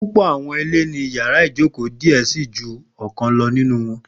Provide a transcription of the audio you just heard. Pupọ awọn ile ni yàrá ìjókòó diẹ sii ju ọkan lọ ninu wọn.